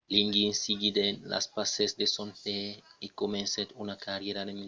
liggins seguiguèt los passes de son paire e comencèt una carrièra en medecina